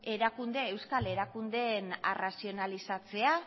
euskal erakundeen arrazionalizatzea